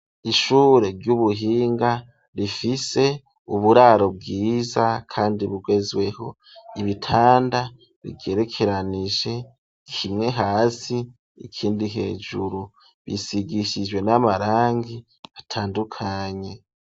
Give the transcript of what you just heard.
Ishure ry'ubuhinga rifise uburaro bwiza kandi bugezweho, ibitanda bigerekeranije kimwe hasi ikindi hejuru ,bisigishijwe n'amarangi atandukanye.